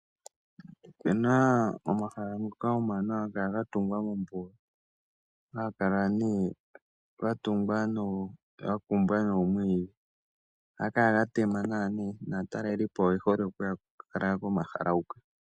Opena omahala ngoka omawanawa haga kala ga tungwa mOmbuga, haga kala nee gakumbwa noomwiidhi oha gakala ga tema nawa nee, naatalelipo oye hole okuya kulala komala huka.